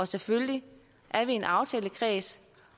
selvfølgelig er vi en aftalekreds